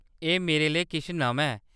एह्‌‌ मेरे लेई किश नमां ऐ।